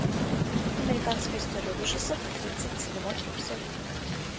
американская история ужасов тридцать седьмой эпизод